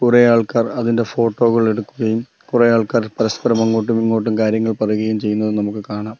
കുറേ ആൾക്കാർ അതിന്റെ ഫോട്ടോ കൾ എടുക്കുകയും കുറേ ആൾക്കാർ പരസ്പരം അങ്ങോട്ടു മിങ്ങോട്ടും കാര്യങ്ങൾ പറയുകയും ചെയ്യുന്നത് നമുക്ക് കാണാം.